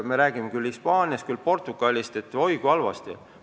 Me räägime Hispaaniast ja Portugalist, et oi, kui halvasti seal on.